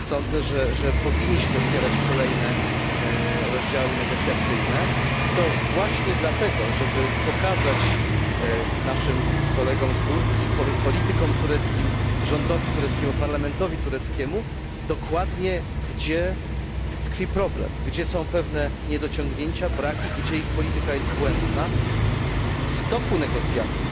Sądzę, że powinniśmy otwierać kolejne rozdziały negocjacyjne, i to właśnie dlatego, żeby pokazać naszym kolegom, politykom tureckim, rządowi i parlamentowi tureckiemu, gdzie dokładnie tkwi problem, gdzie są pewne niedociągnięcia, braki, gdzie ich polityka jest błędna. Myślę, że w toku negocjacji